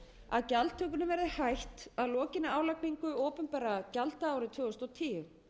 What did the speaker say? að gjaldtökunni verði hætt að lokinni álagningu opinberra gjalda árið tvö þúsund og tíu